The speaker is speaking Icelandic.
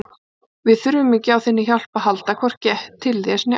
Við þurfum ekki á þinni hjálp að halda, hvorki til þess né annars